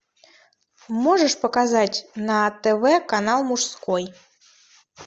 можешь показать на тв канал мужской